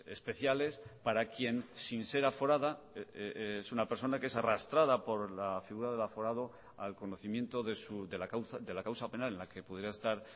especiales para quien sin ser aforada es una persona que es arrastrada por la figura del aforado al conocimiento de la causa penal en la que pudiera estar